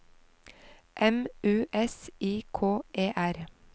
M U S I K E R